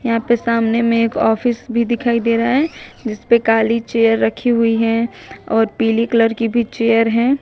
यहां पर सामने में एक ऑफिस भी दिखाई दे रहा है जिस पर काली चेयर रखी हुई है और पीले कलर की भी चेयर है।